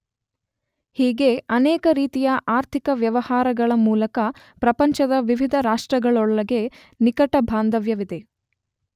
ಹೀಗೆ ಅನೇಕ ರೀತಿಯ ಆರ್ಥಿಕ ವ್ಯವಹಾರಗಳ ಮೂಲಕ ಪ್ರಪಂಚದ ವಿವಿಧ ರಾಷ್ಟ್ರಗಳೊಳಗೆ ನಿಕಟ ಬಾಂಧವ್ಯವಿದೆ.